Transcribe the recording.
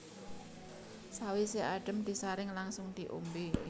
Sawisé adhem disaring langsung diombé